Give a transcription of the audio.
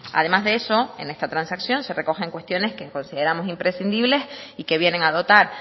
además de eso en esta transacción se recoge cuestiones que consideramos imprescindibles y que vienen a dotar